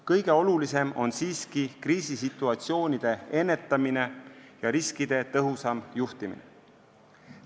Kõige olulisem on siiski kriisisituatsioonide ennetamine ja riskide tõhusam juhtimine.